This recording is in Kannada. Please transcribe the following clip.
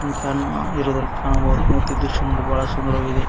ಫ್ಯಾನ್ ಇರುವುದು ಕಾಣಬಹುದು ಮತ್ತು ಈ ದೃಶ್ಯ ನೋಡಲು ಬಹಳ ಸುಂದರವಾಗಿದೆ.